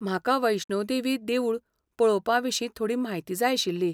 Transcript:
म्हाका वैष्णो देवी देवूळ पळोवपाविशीं थोडी म्हायती जाय आशिल्ली.